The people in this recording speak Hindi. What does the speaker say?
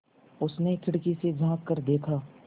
उसने खिड़की से झाँक कर देखा